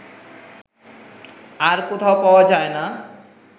আর কোথাও পাওয়া যায় না